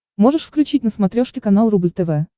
можешь включить на смотрешке канал рубль тв